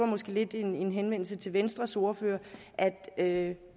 måske lidt en henvendelse til venstres ordfører at